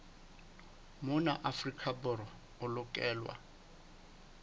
mona afrika borwa e lokelwa